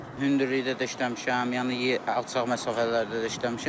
Hündürlükdə də işləmişəm, yəni alçaq məsafələrdə də işləmişəm.